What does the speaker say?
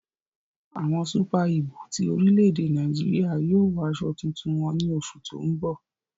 Awọn Súpà-ígù ti orílẹ̀-èdè Nàìjíríà yóò wọ àsọ̀ tuntun wọn ní òṣù tó n bọ